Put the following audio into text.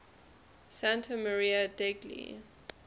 santa maria degli